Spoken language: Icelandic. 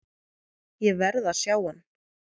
Ég verð að sjá hann.